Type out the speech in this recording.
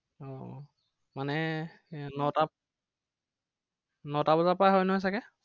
আহ আহ মানে নটাত নটা বজাৰ পৰাই হয় নহয় চাগে।